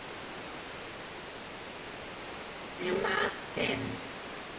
Elísa, hvað er í matinn?